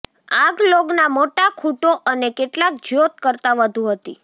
આગ લોગના મોટા ખૂંટો અને કેટલાક જ્યોત કરતાં વધુ હતી